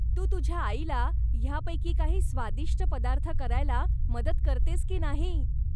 तू तुझ्या आईला ह्यापैकी काही स्वादिष्ट पदार्थ करायला मदत करतेस की नाही?